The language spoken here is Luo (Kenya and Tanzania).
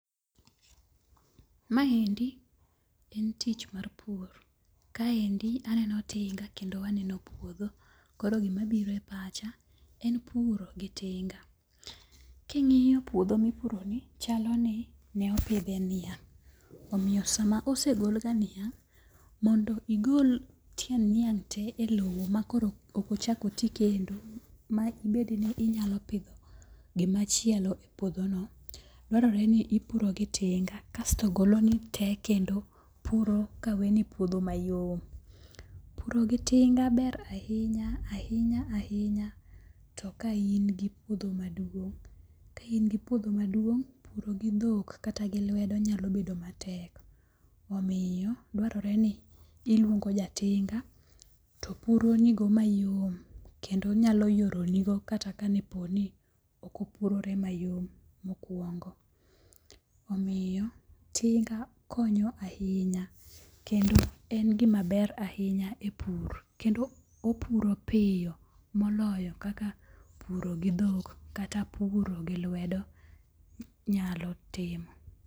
Maendi en tich mar pur. Kaendi aneno tinga kendo aneno puodho. Koro gima biro e pacha en puro gi tinga. King'iyo puodho mipuro ni chalo ni ne opidhe niang'. Omiyo sama osegol ga niang', mondo igol tiend niang' te e lowo ma koro ok ochak oti kendo ma ibed ni inyalo pidho gima chielo e puodho no, dwarore ni ipuro gi tinga kasto goloni te kendo puro ka weni puodho mayom. Puro gi tinga ber ahinya ahinya ahinya to ka in gi puodho maduong'. Ka in gi puodho maduong', puro gi dhok kata gi lwedo nyalo bedo matek. Omiyo dwarore ni iluongo ja tinga to puro nigo mayom kendo nyalo yoro ni go kata ne po ni ok opurore mayom mokuongo. Omiyo, tinga konyo ahinya kendo en gima ber ahinya e pur. Kendo opuro piyo moloyo kaka puro gi dhok kata puro gi lwedo nyalo timo.